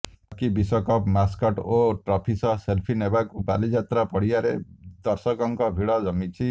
hockey ବିଶ୍ୱକପ୍ mascot ଓ trophy ସହ ସେଲଫି ନେବାକୁ ବାଲିଯାତ୍ରା ପଡିଆରେ ଦର୍ଶକଙ୍କ ଭିଡ ଜମିଛି